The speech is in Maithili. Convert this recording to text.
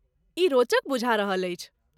ई रोचक बुझा रहल अछि।